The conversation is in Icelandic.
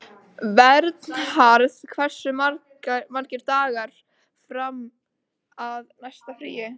Vernharð, hversu margir dagar fram að næsta fríi?